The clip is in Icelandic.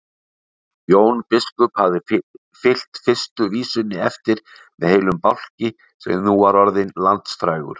Jón biskup hafði fylgt fyrstu vísunni eftir með heilum bálki sem nú var orðinn landsfrægur.